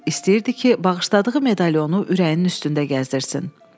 İstəyirdi ki, bağışladığı medalonu ürəyinin üstündə gəzdirsin.